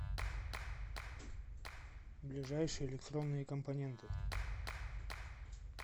ближайший электронные компоненты